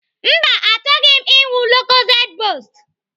Mba, achọghị m ịṅụ lokozed bost.